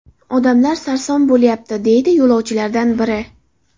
Odamlar sarson bo‘lyapti”, deydi yo‘lovchilardan biri.